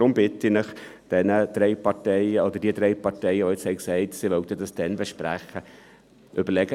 Daher bitte ich die drei Parteien, die jetzt gesagt haben, dass sie dies erst dann besprechen wollen: